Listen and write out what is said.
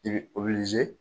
I bɛ